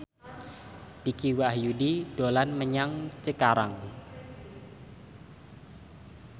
Dicky Wahyudi dolan menyang Cikarang